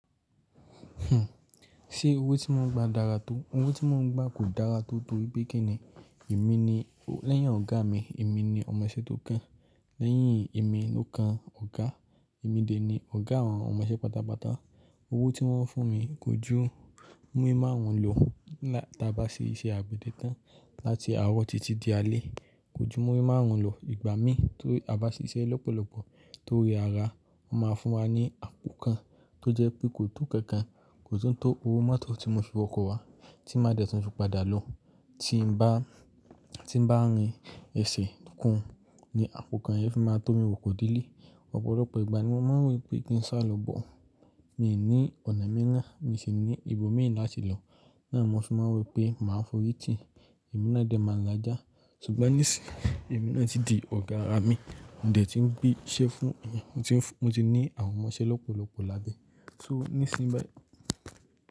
Ṣé owó tí mon ń gba dára tó? Owó tí mon ń gba kò dára tó tórípé kí ni èmi ni lẹ́yìn ọ̀gá mi, èmi ni ọmọṣẹ́ tó kán. Lẹ́yìn èmi ló kán ọ̀gá. Èmi dè ni ọ̀gá àwọn ọmọṣẹ́ pátápátá. Owó tí wọ́n ń fún mi kò jú múrí márùn ún lò lá-- tí a bá ṣe iṣẹ́ àgbẹ̀dẹ tán láti àárọ̀ títí di alẹ́. Kò jú múrí márùn ún lò. Ìgbà mí tó a bá ṣe iṣẹ́ lọ́pọ̀lọ́pọ̀ tó rẹ̀ ara, wọ́n máa fún wa ní àpò kan tó jẹ́ pé kò tó kankan, kò tún tó owó máa tó tí mo fi wọkọ̀ wá tí máa dẹ̀ tún fi padà lọ. Tí n bá, tí n bá rìn ẹsẹ̀ kùn ni àpò kan yẹn fi máa tó mi wọkọ̀ délé. Ọ̀pọ̀lọpọ̀ ìgbà ni mo máa ń rí i pé kí n sá lọ bọ̀. Mi ní ọ̀nà mẹ́rìnà, mi sì ní ibo mìí láti lọ. Náà ni mo fi máa ń wò pé mà á fọ́rí tì. Èmi náà dẹ̀ máa la já. Ṣùgbọ́n nísìyí, èmi náà ti di ọ̀gá ara mi. Mo dé tí ń gbé iṣẹ́ fún èèyàn, mo tin fu mo ti ní àwọn ọmọṣẹ́ lọ́pọ̀lọ́pọ̀ lábẹ́. So nísìnyí báyìí.